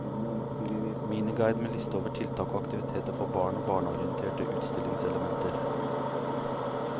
Miniguide med liste over tiltak og aktiviteter for barn og barneorienterte utstillingselementer.